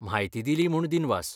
म्हायती दिली म्हूण दिनवास.